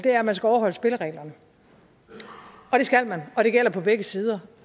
at man skal overholde spillereglerne og det skal man og det gælder på begge sider